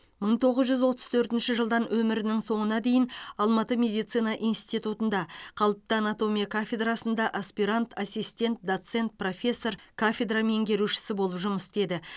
мың тоғыз жүз отыз төртінші жылдан өмірінің соңына дейін алматы медицина институтында қалыпты анатомия кафедрасында аспирант ассистент доцент профессор кафедра меңгерушісі болып жұмыс істеді